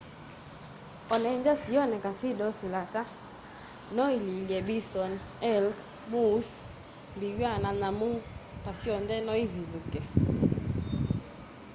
onethwa sioneka syi docile ata no ililye bison elk moose mbiwa na nyamu ta syonthe no ivithukie